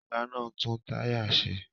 Fọga náà ń tún táyà ṣe